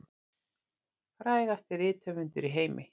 Frægasti rithöfundur í heimi